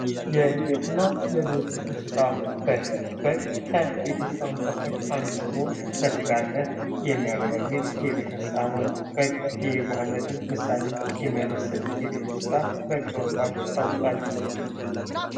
የቤትና የዱር እንሰሳት ፦ በግ ፦ በግ ከቤት እንስሳ መካከል አንዱ ሲሆን ለስጋነት የሚያገለግል የቤት እንስሳ ነው ። በግ የየዋህነትን ምሳሌ የሚያመስል የቤት እንስሳ በግ በመባል ይታወቃል ።